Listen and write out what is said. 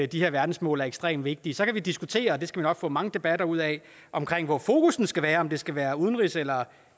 de her verdensmål er ekstremt vigtige så kan vi diskutere og det skal vi nok få mange debatter ud af hvor fokus skal være om det skal være udenrigs eller